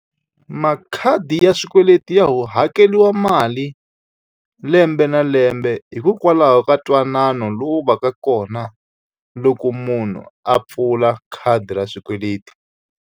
Makhadi ya swikweleti ya hakeriwa mali lembe na lembe, hikokwalaho ka ntwanano lowu va ka kona loko munhu a pfula khadi ra swikweleti.